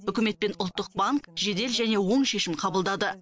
үкімет пен ұлттық банк жедел және оң шешім қабылдады